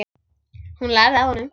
Hún lærði af honum.